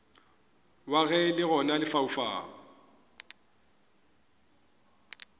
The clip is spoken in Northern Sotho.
wa ge le gona lefaufau